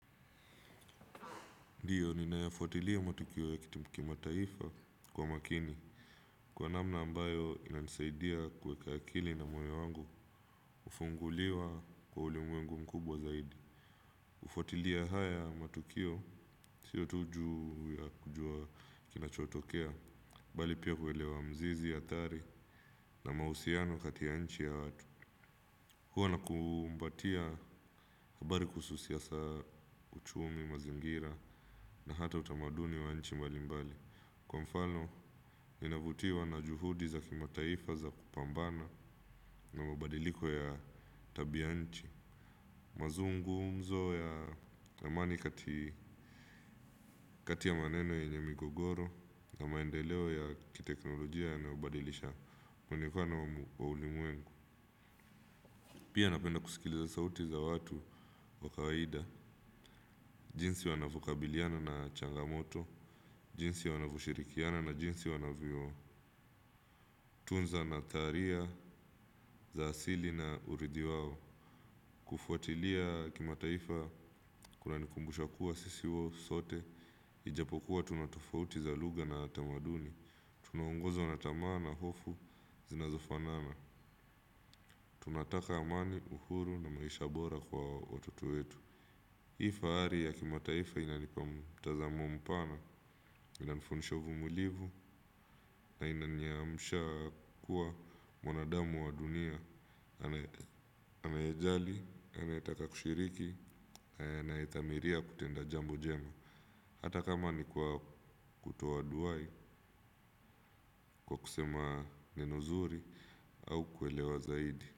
Ndiyo, ninayafuatilia matukio ya kitipu kima taifa kwa makini, kwa namna ambayo ina nisaidia kweka akili na moyo wangu, ufunguliwa kwa uli mwengu mkubwa zaidi. Ufuatilia haya matukio, sio tuju ya kujua kinachotokea, bali pia kuelewa mzizi ya thari na mausiano katia nchi ya watu. Huwa na kumbatia habari kususiasa uchumi, mazingira na hata utamaduni wa nchi mbali mbali. Kwa mfano, inavutiwa na juhudi za kima taifa za kupambana na mabadiliko ya tabianchi. Mazungu mzo ya amani. Kati ya maneno yenye migogoro na maendeleo ya kiteknolojia yanayobadilisha kungekuwa na wa ulimwengu. Pia napenda kusikiliza sauti za watu wa kawaida: jinsi wanavyokabiliana na changamoto, jinsi wanavyoshirikiana, na jinsi wanavyotunza nadharia za asili na urithi wao. Kufuatilia kimataifa kunanikumbusha kuwa sisi wao sote. Ijapokuwa tunatofauti za lugya na tamaduni, tunahongozo na tamaa na hofu zinazofanana. Tunataka amani, uhuru na maisha bora kwa watoto wetu. Hii fahari ya kimataifa inanipa mtazamo mpana. Inanifundisha uvumilivu na inanionyesha kuwa wanadamu wa dunia anayejali anayetaka kushiriki anayedhamiria kutenda jambo jema. Hata kama ni kutoa duwai kwa kusema ni nuzuri au kuelewa zaidi.